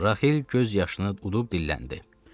Raxil göz yaşını udub dilləndi.